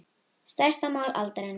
Stærsta mál aldarinnar